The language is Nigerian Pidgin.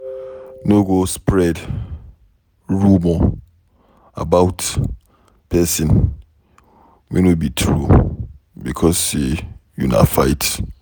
No go spread rumor about pesin wey no be true becos say una fight.